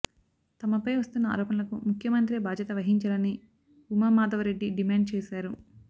తమపై వస్తున్న ఆరోపణలకు ముఖ్యమంత్రే బాధ్యత వహించాలని ఉమామాధవరెడ్డి డిమాండ్ చేశారు